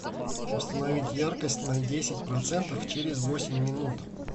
установить яркость на десять процентов через восемь минут